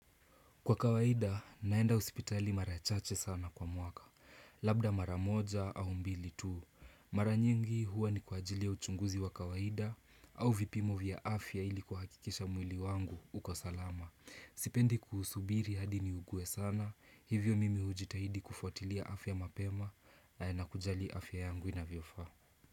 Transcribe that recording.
Kwa kawaida naenda hospitali mara chache sana kwa mwaka. Labda mara moja au mbili tu Mara nyingi huwa ni kwa ajili ya uchunguzi wa kawaida au vipimo vya afya ili kuhakikisha mwili wangu uko salama. Sipendi kuhusubiri hadi niuguwe sana Hivyo mimi hujitahidi kufotilia afya mapema na nakujali afya yangu inavyofaa.